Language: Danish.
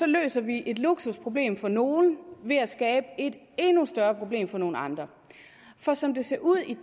løser vi et luksusproblem for nogle ved at skabe et endnu større problem for nogle andre for som det ser ud i